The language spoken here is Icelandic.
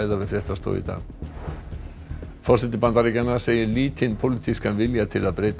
við fréttastofu í dag forseti Bandaríkjanna segir lítinn pólitískan vilja til að breyta